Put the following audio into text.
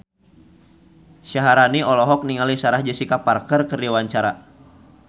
Syaharani olohok ningali Sarah Jessica Parker keur diwawancara